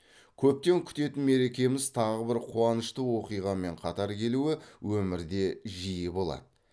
көптен күтетін мерекеміз тағы бір қуанышты оқиғамен қатар келуі өмірде жиі болады